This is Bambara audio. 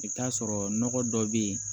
I bɛ t'a sɔrɔ nɔgɔ dɔ bɛ yen